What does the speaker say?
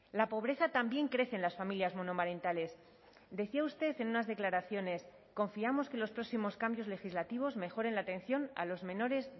la pobreza también crece en las familias monomarentales decía usted en unas declaraciones confiamos que los próximos cambios legislativos mejoren la atención a los menores